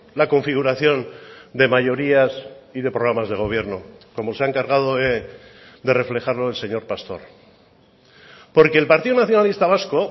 la configuración de mayorías y de programas de gobierno como se ha encargado de reflejarlo el señor pastor porque el partido nacionalista vasco